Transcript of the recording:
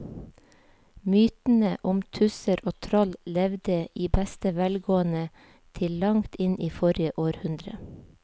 Mytene om tusser og troll levde i beste velgående til langt inn i forrige århundre.